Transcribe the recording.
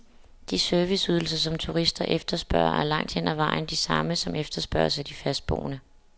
De serviceydelser, som turister efterspørger, er langt hen ad vejen de samme, som efterspørges af de fastboende.